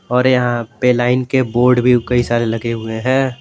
और यहां पे लाइन के बोर्ड भी कई सारे लगे हुए हैं।